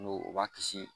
N'o o b'a kisi